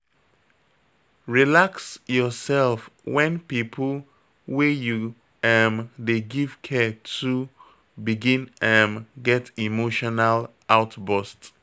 Relax your sef when pipo wey you um dey give care too begin um get emotional outburst